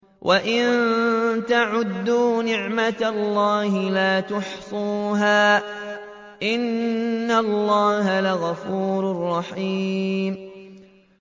وَإِن تَعُدُّوا نِعْمَةَ اللَّهِ لَا تُحْصُوهَا ۗ إِنَّ اللَّهَ لَغَفُورٌ رَّحِيمٌ